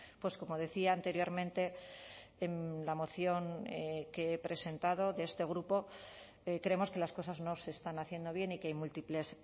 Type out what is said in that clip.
pues como decía anteriormente en la moción que he presentado de este grupo creemos que las cosas no se están haciendo bien y que hay múltiples